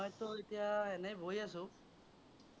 মইতো এতিয়া এনেই বহি আছো।